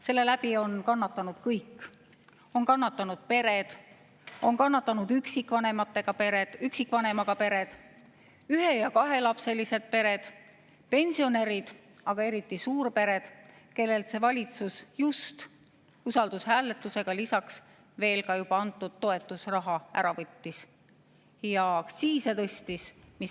Selle pärast on kannatanud kõik – on kannatanud pered, on kannatanud üksikvanemaga pered, ühe‑ ja kahelapselised pered, pensionärid, aga eriti suurpered, kellelt see valitsus just usaldushääletusega juba antud toetusraha ära võttis ja aktsiise tõstis.